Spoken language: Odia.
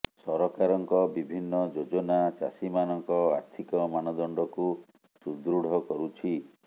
ସରକାରଙ୍କ ବିଭିନ୍ନ ଯୋଜନା ଚାଷୀମାନଙ୍କ ଆର୍ଥିକ ମାନଦଣ୍ଡକୁ ସୁଦୃଢ କରୁଛି